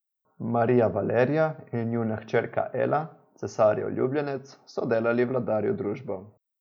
Marija Valerija in njuna hčerka Ela, cesarjev ljubljenec, so delali vladarju družbo.